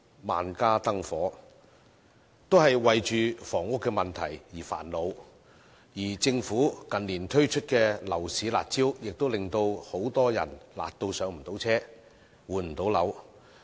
萬家燈火，都為房屋問題而煩惱，而政府近年推出的樓市"辣招"也辣到令很多人不能"上車"和換樓。